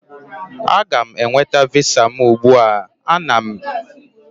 M ga-aga nweta Visa m ugbu a na m nwere ike ịsụ Bekee nke ọma